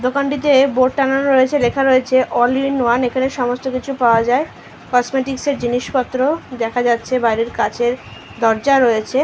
দোকানটিতে বোর্ড টাঙানো রয়েছে লেখা রয়েছে অল ইন ওয়ান এখানে সমস্ত কিছু পাওয়া যায় কসমেটিক্সের জিনিসপত্র দেখা যাচ্ছে বাইরে কাঁচের দরজা রয়েছে।